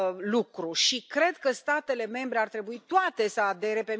lucru și cred că statele membre ar trebui toate să adere.